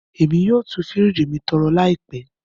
Emi yoo tú firiji mi torẹ laipẹ.